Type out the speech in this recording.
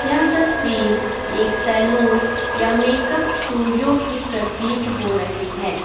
यह तस्वीर एक सैलून या मेकअप स्टूडियो की प्रतीत हो रही है।